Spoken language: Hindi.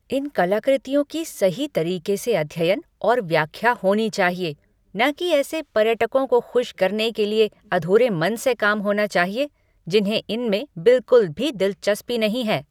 इन कलाकृतियों की सही तरीके से अध्ययन और व्याख्या होनी चाहिए, न कि ऐसे पर्यटकों को खुश करने के लिए अधूरे मन से काम होना चाहिए, जिन्हें इनमें बिल्कुल भी दिलचस्पी नहीं है।